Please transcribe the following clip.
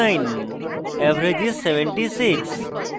average is: 76